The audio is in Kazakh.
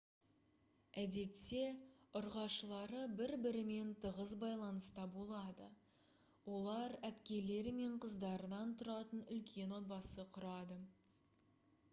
әдетте ұрғашылары бір-бірімен тығыз байланыста болады олар әпкелері мен қыздарынан тұратын үлкен отбасы құрады